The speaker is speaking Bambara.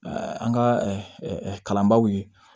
an ka kalanbaaw ye